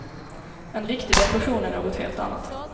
En riktig depression är något helt annat.